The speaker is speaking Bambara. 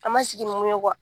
An ma sigi ni mun ye